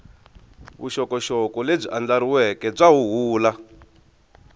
vuxokoxoko lebyi andlariweke bya huhula